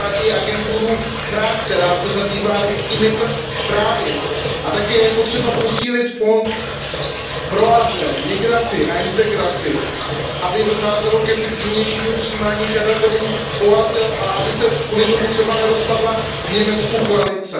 Třeba i agenturu FRA, která se zabývá lidskými právy, a také je potřeba posílit Fond pro azyl, migraci a integraci, aby docházelo k efektivnějšímu přijímání žadatelů o azyl a aby se kvůli tomu třeba nerozpadla v Německu koalice.